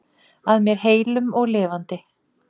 Að mér heilum og lifandi.